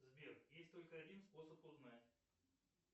сбер есть только один способ узнать